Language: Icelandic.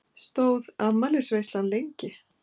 Stóð afmælisveislan lengi?